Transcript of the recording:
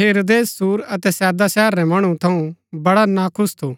हेरोदेस सूर अतै सैदा शहर रै मणु थऊँ वड़ा नाखुश थु